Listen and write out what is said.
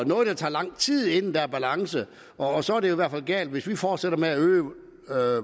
noget der tager lang tid inden der er en balance og så er det i hvert fald galt hvis vi fortsætter med at øge